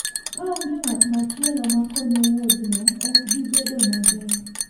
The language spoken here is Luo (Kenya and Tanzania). Ka onge ng'at machielo makonyo, wuodhno ok bi bedo maber.